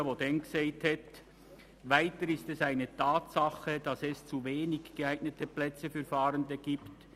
Er sagte damals: «Weiter ist es eine Tatsache, dass es zu wenige geeignete Plätze für Fahrende gibt.